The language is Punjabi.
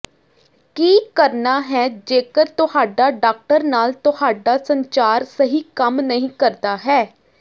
ਕੀ ਕਰਨਾ ਹੈ ਜੇਕਰ ਤੁਹਾਡਾ ਡਾਕਟਰ ਨਾਲ ਤੁਹਾਡਾ ਸੰਚਾਰ ਸਹੀ ਕੰਮ ਨਹੀਂ ਕਰਦਾ ਹੈ